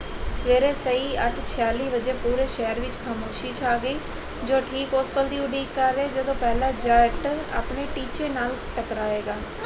ਸਵੇਰੇ ਸਹੀ 8:46 ਵਜੇ ਪੂਰੇ ਸ਼ਹਿਰ ਵਿੱਚ ਖਾਮੋਸ਼ੀ ਛਾ ਗਈ ਜੋ ਠੀਕ ਉਸ ਪਲ ਦੀ ਉਡੀਕ ਕਰ ਰਿਹਾ ਹੈ ਜਦੋਂ ਪਹਿਲਾ ਜੈੱਟ ਆਪਣੇ ਟੀਚੇ ਨਾਲ ਟਕਰਾਏਗਾ।